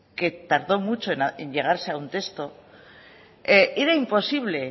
que tardó mucho en llegarse a un texto era imposible